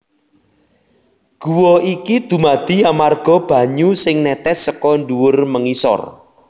Guwa iki dumadi amarga banyu sing nètès seka ndhuwur mengisor